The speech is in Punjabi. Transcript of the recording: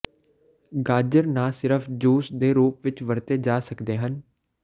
ਗਾਜਰ ਨਾ ਸਿਰਫ ਜੂਸ ਦੇ ਰੂਪ ਵਿੱਚ ਵਰਤੇ ਜਾ ਸਕਦੇ ਹਨ